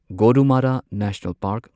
Gorumara national park